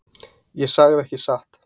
Ég sagði ekki satt.